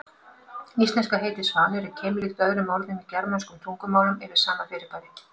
Íslenska heitið svanur er keimlíkt öðrum orðum í germönskum tungumálum yfir sama fyrirbæri.